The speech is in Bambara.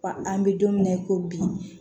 Wa an bɛ don min na ko bi